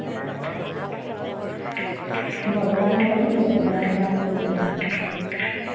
ভগৱান ঠোৰে ন নিয়ে, য়মৰাজ নিব য়মৰাজ